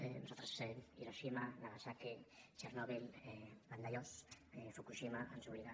a nosaltres hiroshima nagasaki txernòbil vandellós fukushima ens obliguen